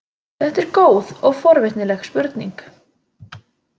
Þetta er góð og forvitnileg spurning.